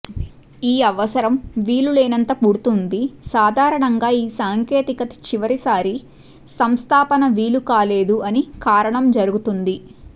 ఈ అవసరం వీలులేనంత పుడుతుంది సాధారణంగా ఈ సాంకేతిక చివరిసారి సంస్థాపన వీలుకాలేదు అని కారణం జరుగుతుంది